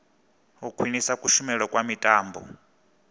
u khwinisa kushumele kha mitambo